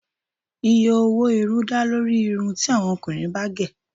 Iye owó irun dá lórí irú irun ti àwọn ọkùnrin bá gẹ̀